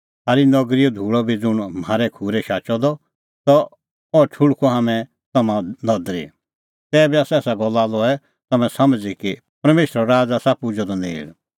थारी नगरीओ धूल़अ बी ज़ुंण म्हारै खूरै शाचअ त अह ठुल़्हकअ हाम्हैं तम्हां नदरी तैबी एसा गल्ला लऐ तम्हैं समझ़ी कि परमेशरो राज़ आसा पुजअ द तम्हां नेल़